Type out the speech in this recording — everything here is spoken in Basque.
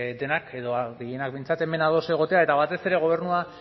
denak edo gehienak behintzat hemen ados egotea eta batez ere gobernua